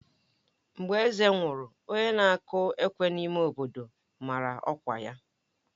Mgbe eze nwụrụ, onye na-akụ ekwe n'ime obodo mara ọkwa ya.